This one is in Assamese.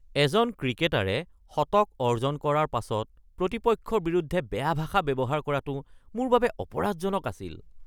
এজন ক্ৰিকেটাৰে শতক অৰ্জন কৰাৰ পাছত প্ৰতিপক্ষৰ বিৰুদ্ধে বেয়া ভাষা ব্যৱহাৰ কৰাটো মোৰ বাবে অপৰাধজনক আছিল।